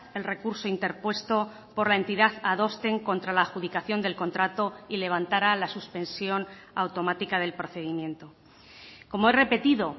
el recurso interpuesto por la entidad adosten contra la adjudicación del contrato y levantara la suspensión automática del procedimiento como he repetido